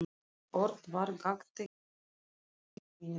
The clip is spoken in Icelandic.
Örn var gagntekinn af sterkum tilfinningum.